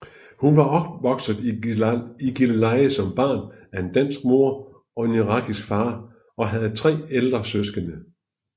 Hun var opvokset i Gilleleje som barn af en dansk mor og en irakisk far og havde tre ældre søskende